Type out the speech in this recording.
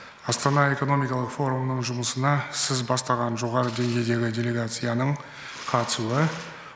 астана экономикалық форумының жұмысына сіз бастаған жоғары деңгейдегі делегацияның қатысуы